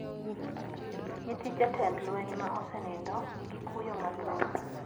Nyithind jatend lweny ma osenindo ni gi kuyo mathoth